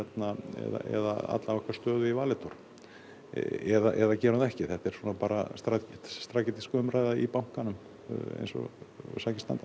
eða alla okkar stöðu í Valitor eða gerum það ekki þetta er svona strategísk umræða í bankanum eins og sakir standa